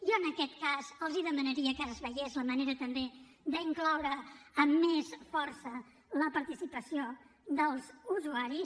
jo en aquest cas els demanaria que es veiés la manera també d’incloure amb més força la participació dels usuaris